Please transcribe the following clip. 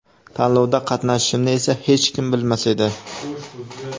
Tanlovda qatnashishimni esa hech kim bilmas edi.